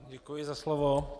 Děkuji za slovo.